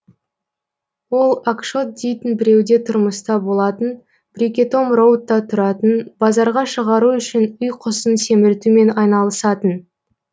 ол окшотт дейтін біреуде тұрмыста болатын брикетом роудта тұратын базарға шығару үшін үй құсын семіртумен айналысатын